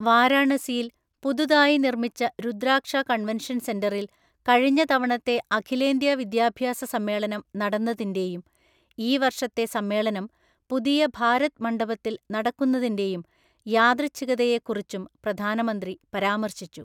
വാരാണസിയിൽ പുതുതായി നിർമിച്ച രുദ്രാക്ഷ കൺവെൻഷൻ സെന്ററിൽ കഴിഞ്ഞ തവണത്തെ അഖിലേന്ത്യ വിദ്യാഭ്യാസ സമ്മേളനം നടന്നതിന്റെയും ഈ വർഷത്തെ സമ്മേളനം പുതിയ ഭാരത് മണ്ഡപത്തിൽ നടക്കുന്നതിന്റെയും യാദൃച്ഛികതയെക്കുറിച്ചും പ്രധാനമന്ത്രി പരാമർശിച്ചു.